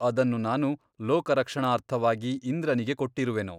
ಅದನ್ನು ನಾನು ಲೋಕರಕ್ಷಣಾರ್ಥವಾಗಿ ಇಂದ್ರನಿಗೆ ಕೊಟ್ಟಿರುವೆನು.